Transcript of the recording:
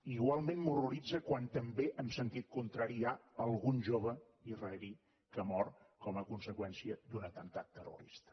igualment m’horroritza quan també en sentit contrari hi ha algun jove israelià que ha mort com a conseqüència d’un atemptat terrorista